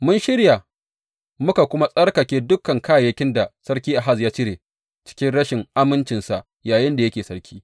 Mun shirya muka kuma tsarkake dukan kayayyakin da Sarki Ahaz ya cire cikin rashin amincinsa yayinda yake sarki.